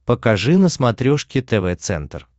покажи на смотрешке тв центр